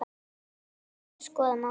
Þeir eru að skoða málið.